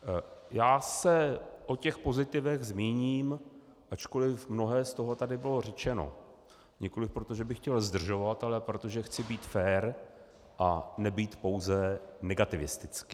Já se o těch pozitivech zmíním, ačkoliv mnohé z toho tady bylo řečeno, nikoliv proto, že bych chtěl zdržovat, ale proto, že chci být fér a nebýt pouze negativistický.